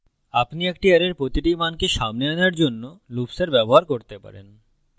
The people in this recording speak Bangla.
আপনি একটি অ্যারের প্রতিটি মানকে সামনে আনার জন্য লুপ্সের ব্যবহার করতে পারেন